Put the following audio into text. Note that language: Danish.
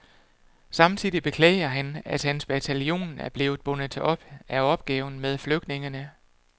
Samtidig beklager han, at hans bataljon er blevet bundet op af opgaven med flygtningene.